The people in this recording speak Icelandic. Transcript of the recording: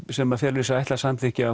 sem felur í sér ætlað samþykki